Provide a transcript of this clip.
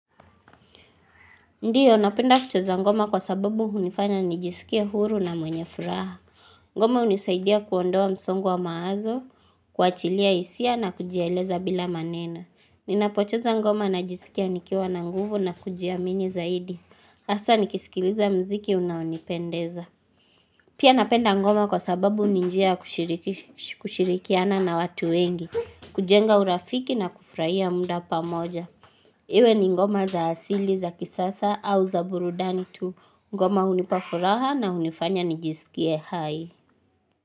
Ndiyo, napenda kucheza ngoma kwa sababu hunifanya nijiskie huru na mwenye furaha. Ngoma unisaidia kuondoa msongo wa mawazo, kuachilia hisia na kujieleza bila maneno Ninapocheza ngoma najiskia nikiwa na nguvu na kujiamini zaidi. Hasa nikisikiliza mziki unaonipendeza. Pia napenda ngoma kwa sababu ni njia ya kushirikiana na watu wengi, kujenga urafiki na kufurahia muda pamoja. Iwe ni ngoma za asili za kisasa au za burudani tu ngoma hunipa furaha na hunifanya nijiskie hai.